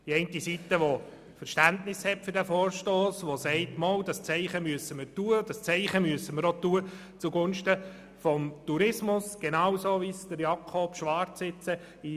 Die einen haben Verständnis für dieses Anliegen und möchten hier ein Zeichen zugunsten des Tourismus setzen.